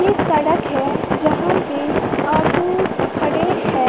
सड़क है जहां पे ऑटोज खड़े है।